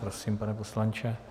Prosím, pane poslanče.